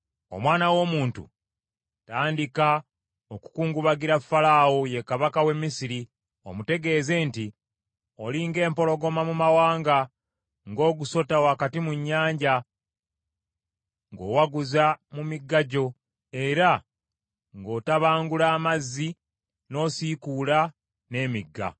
“Omwana w’omuntu, tandika okukungubagira Falaawo, ye kabaka w’e Misiri, omutegeeze nti: “ ‘Oli ng’empologoma mu mawanga, ng’ogusota wakati mu nnyanja, ng’owaguza mu migga gyo, era ng’otabangula amazzi, n’osiikuula n’emigga.